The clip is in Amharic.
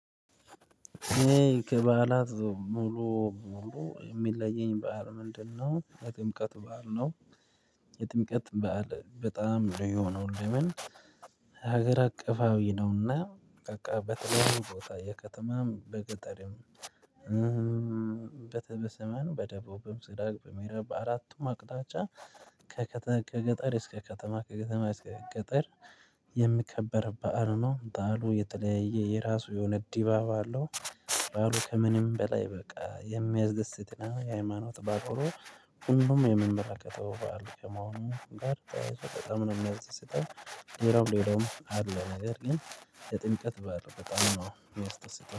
እኔ ከበዓላት ሙሉ ሙሉ የሚለየኝ በዓል ምንድነው? የጥምቀት በዓል ነው። የጥምቀት በዓል በጣም ልዩ የሆነው ለምን? ሀገር አቀፋዊ ነው እና። በቃ በተለያዩ ቦታ የከተማም በገጠርም በተበሰመን በደቡብም ስራብ በምዕራብ በአራቱም አቅጣጫ። ከከተከ ከገጠር እስከ ከተማ ከከተማ እስከ ገጠር የሚከበር በዓል ነው። በዓሉ የተለያየ የራሱ የሆነ ዲባብ አለው። በዓሉ ከምንም በላይ በቃ የሚያስደስት እና የሃይማኖት በዓል ሆኖ ሁሉም የምመረቀቀው በዓል ከመሆኑም ጋር ተያይዞ በጣም ነው የሚያስደስተው። ሌላው ሌላውም አለ ነገር ግን የጥምቀት በዓል በጣም ነው የሚያስደስተው